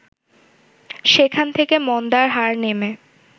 সেখান থেকে মন্দার হার নেমে